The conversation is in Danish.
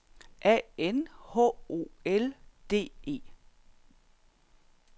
A N H O L D E